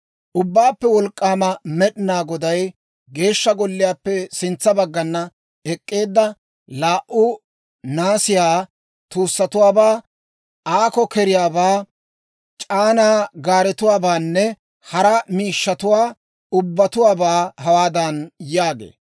Ubbaappe Wolk'k'aama Med'inaa Goday, «Geeshsha golliyaappe sintsa baggan ek'k'eedda laa"u naasiyaa tuusatuwaabaa, Aako-Keriyaabaa, C'aanaa gaaretuwaabaanne hara miishshatuwaa ubbatuwaabaa hawaadan yaagee,